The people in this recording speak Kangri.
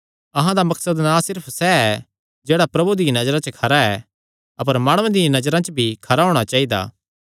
अहां दा मकसद ना सिर्फ सैह़ ऐ जेह्ड़ा प्रभु दिया नजरा च खरा ऐ अपर माणुआं दिया नजरा च भी खरा होणा चाइदा